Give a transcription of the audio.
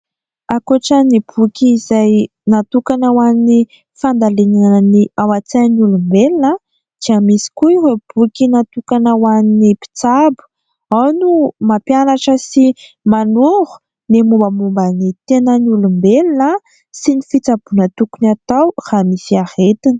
Ankoatra ny boky izay natokana ho an'ny fandalinana ny ao an-tsain'ny olombelona dia misy koa ireo boky natokana ho an'ny mpitsabo. Ao no mampianatra sy manoro ny mombamomba ny tenan'ny olombelona sy ny fitsaboana tokony atao raha misy aretina.